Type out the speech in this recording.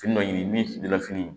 Fini dɔ ɲini min fili la fini